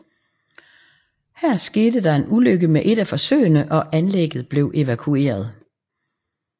Her skete der en ulykke med et af forsøgene og anlægget blev evakueret